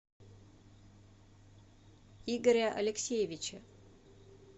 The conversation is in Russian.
игоря алексеевича